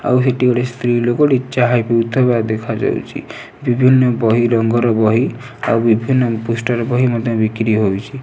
ଆଉ ସେଠି ଗୋଟେ ସ୍ତ୍ରୀ ଲୋକଟେ ଚାହା ପିଉଥିବାର ଦେଖାଯାଉଛି। ବିଭିନ୍ନ ବହି ରଙ୍ଗର ବହି ଆଉ ବିଭିନ୍ନ ପୋଷ୍ଟର ବହି ମଧ୍ଯ ବିକ୍ରି ହେଉଛି।